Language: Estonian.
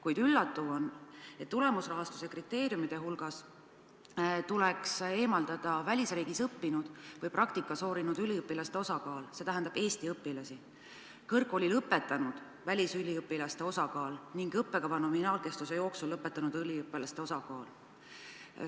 Kuid üllatav on, et tulemusrahastuse kriteeriumide hulgast tuleks eemaldada välisriigis õppinud või praktika sooritanud üliõpilaste osakaal – see tähendab Eesti õpilasi –, kõrgkooli lõpetanud välisüliõpilaste osakaal ning õppekava nominaalkestuse jooksul lõpetanud üliõpilaste osakaal.